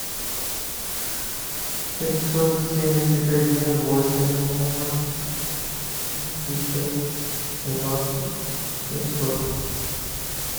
пятьсот семьдесят один восемь двенадцать пятьдесят семнадцать семьсот